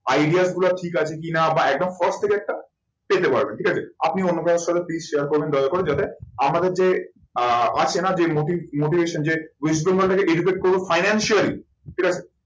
Idea গুলো ঠিক আছে কি না বা একদম পেতে পারবেন ঠিক আছে। আপনি অন্য কারোর সাথে please share করবেন দয়া করে যাতে আমাদের যে আহ আছে না যে motivation যে west bengal টাকে educate করবো financially ঠিক আছে